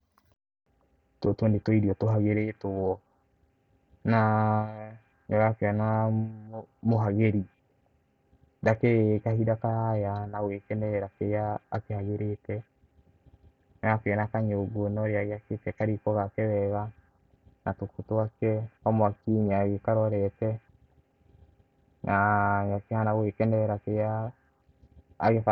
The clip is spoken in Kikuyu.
Tũtũ nĩ tũirio tũhagĩrĩtwo na nĩ ũrakĩona mũhagĩri ndakĩrĩ kahinda karaya na gũgĩkenerera kĩrĩa akĩhagĩrĩte, nĩ ũrakĩona kanyũngũ na ũrĩa agĩakĩte kariko gake wega, na tũkũ twake, kamwaki nĩ agĩkarorete na nĩ akĩhana gũgĩkenerera kĩrĩa agĩ-